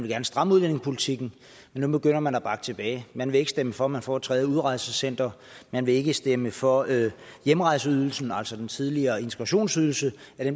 gerne stramme udlændingepolitikken men nu begynder man at bakke tilbage man vil ikke stemme for at få et tredje udrejsecenter man vil ikke stemme for at hjemrejseydelsen altså den tidligere integrationsydelse